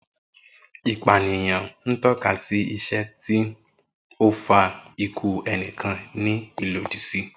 Ipaniyan n tọka si iṣe ti o fa iku ẹnikan ni ilodi si.